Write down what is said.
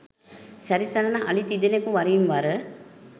සැරි සරන අලි තිදෙනෙකු වරින් වර